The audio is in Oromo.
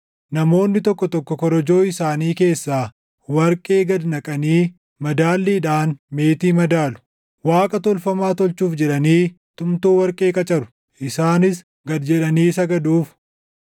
Namoonni tokko tokko korojoo isaanii keessaa warqee gad naqanii madaalliidhaan meetii madaalu; Waaqa tolfamaa tolchuuf jedhanii tumtuu warqee qacaru; isaanis gad jedhanii sagaduuf.